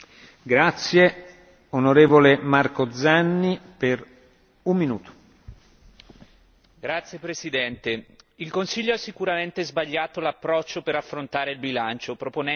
Signor Presidente, onorevoli colleghi, il Consiglio ha sicuramente sbagliato l'approccio per affrontare il bilancio, proponendo tagli lineari senza entrare nello specifico delle singole voci di bilancio.